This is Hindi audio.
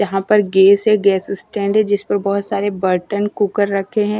यहां पर गैस है गैस स्टैंड है जिसपर बहोत सारे बर्तन कूकर रखे हैं।